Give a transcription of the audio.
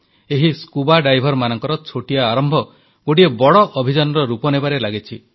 ଏହି ସ୍କୁବା ଡାଇଭରମାନଙ୍କର ଛୋଟିଆ ଆରମ୍ଭ ଗୋଟିଏ ବଡ଼ ଅଭିଯାନର ରୂପ ନେବାରେ ଲାଗିଛି